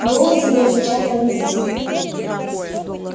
голос его звучал повелительно